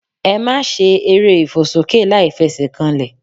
Ẹ máa se eré ìfòsókè láìfesèkanlè